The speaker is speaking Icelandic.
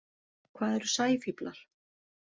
Hvað eru sæfíflar?